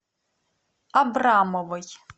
абрамовой